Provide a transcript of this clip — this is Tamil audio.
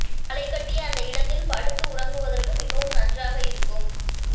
கலைகட்டிய அந்த இடத்தில் படுத்து உறங்குவதற்கு மிகவும் நன்றாக இருக்கும்